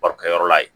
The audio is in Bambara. Barokɛyɔrɔ la yen